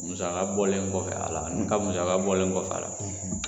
Musaka bɔlen kɔfɛ ne ka musaka bɔlen kɔfɛ a la